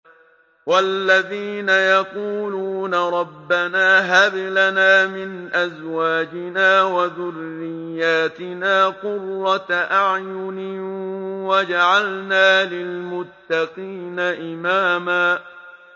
وَالَّذِينَ يَقُولُونَ رَبَّنَا هَبْ لَنَا مِنْ أَزْوَاجِنَا وَذُرِّيَّاتِنَا قُرَّةَ أَعْيُنٍ وَاجْعَلْنَا لِلْمُتَّقِينَ إِمَامًا